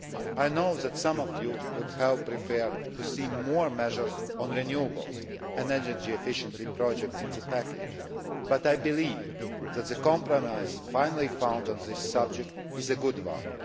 I know that some of you would have preferred to see more measures on renewables and energy efficiency projects in the package, but I believe that the compromise finally found on this subject is a good one.